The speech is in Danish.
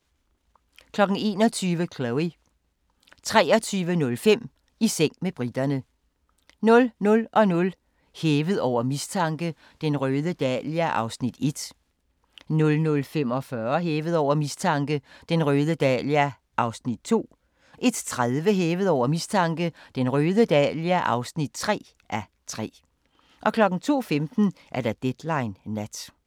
21:00: Chloe 23:05: I seng med briterne 00:00: Hævet over mistanke: Den røde dahlia (1:3) 00:45: Hævet over mistanke: Den røde dahlia (2:3) 01:30: Hævet over mistanke: Den røde dahlia (3:3) 02:15: Deadline Nat